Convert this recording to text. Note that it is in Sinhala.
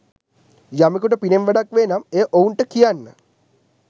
යමෙකුට පිනෙන් වැඩක් වේ නම් එය ඔවුන්ට කියන්න.